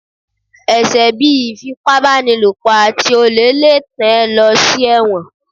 ẹsẹ bí Ifípábanílopo atí olè lé tán e lo sí ẹwọ́n